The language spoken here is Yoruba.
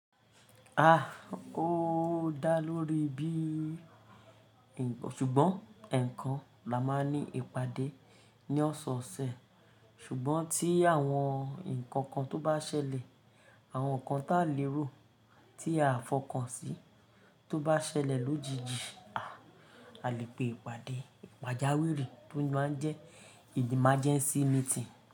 A! Ó dá lórí bí nkan, ṣùgbọ́n eekan la máa n ní ìpàdé ní ọ̀sọ̀ọ̀sẹ̀. Ṣùgbọ́n tí àwọn ǹkan kan tó bá ṣẹlẹ̀, àwọn ǹkan táa lérò tí a fọkàn sí tó bá ṣẹlẹ̀ lójijì, a lè pe ìpàdé pàjáwìrì tó máa ń jẹ́ emergency meeting.